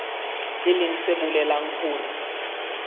e leng se bolelang hore